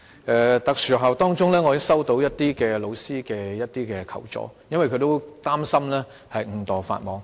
我接獲部分特殊學校老師的求助，因為他們擔心誤墮法網。